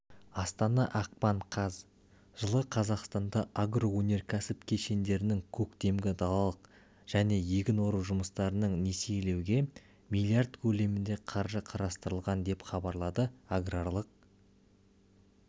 астана ақпан қаз жылы қазақстанда агроөнеркәсіп кешендерінің көктемгі далалық және егін ору жұмыстарын несиелеуге млрд көлемінде қаржы қарастырылған деп хабарлады аграрлық